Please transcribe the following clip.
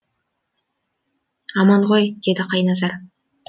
аман ғой деді қайназар